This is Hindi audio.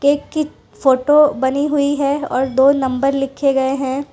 एक की फोटो बनी हुई है और दो नंबर लिखे गए हैं।